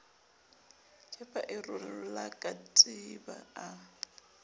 kepa a rola katiba a